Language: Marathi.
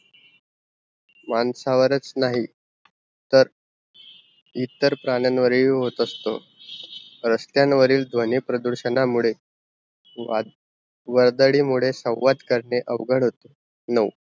माणसावरच नांही तर इतर प्राण्यान वर ही होत असतो, रस्त्यान वरी ध्वनी प्रदूरषणा मुड़े वर्दारी मुड़े संवाद करणे अवघड असतो नो